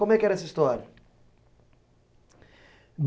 Como é que era essa história?